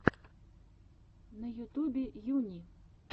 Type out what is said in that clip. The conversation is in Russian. на ютубе юни